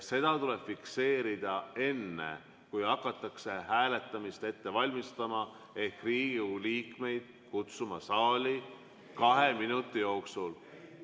See tuleb fikseerida enne, kui hakatakse hääletamist ette valmistama ehk Riigikogu liikmeid kutsuma saali kahe minuti jooksul.